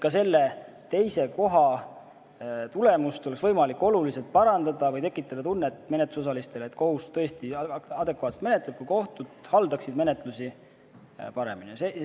Ka selle teise koha tulemust oleks võimalik oluliselt parandada või tekitada menetlusosalistes tunne, et kohus menetleb tõesti adekvaatselt, kui kohtud haldaksid menetlust paremini.